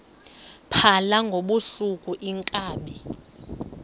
phala ngobusuku iinkabi